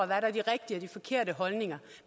der er de rigtige og de forkerte holdninger